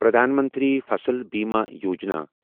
Pradhan Mantri Fasal Bima Yojana